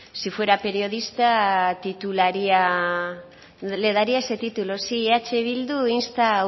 si fuera periodista titularía le daría ese título sí eh bildu insta a